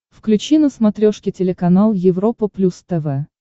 включи на смотрешке телеканал европа плюс тв